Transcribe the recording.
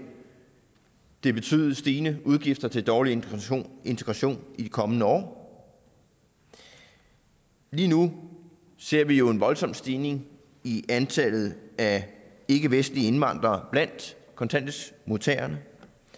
det betyde stigende udgifter til dårlig integration integration i de kommende år lige nu ser vi jo en voldsom stigning i antallet af ikkevestlige indvandrere blandt kontanthjælpsmodtagerne